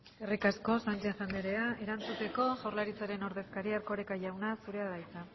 eskerrik asko sánchez anderea erantzuteko jaurlaritzaren ordezkaria erkoreka jauna zurea da hitza